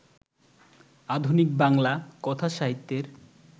আধুনিক বাংলা কথাসাহিত্যের